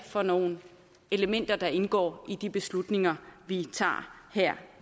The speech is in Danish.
for nogle elementer der indgår i de beslutninger vi tager her